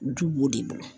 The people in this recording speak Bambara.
Du b'o de bolo